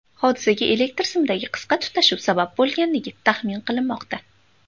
Hodisaga elektr simidagi qisqa tutashuv sabab bo‘lganligi taxmin qilinmoqda.